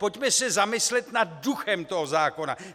Pojďme se zamyslet nad duchem toho zákona.